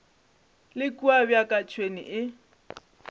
le kua bjaka tšhwene e